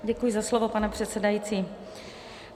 Děkuji za slovo, pane předsedající.